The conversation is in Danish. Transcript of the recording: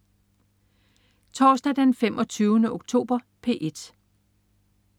Torsdag den 25. oktober - P1: